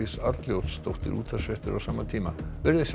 Arnljótsdóttir útvarpsfréttir á sama tíma veriði sæl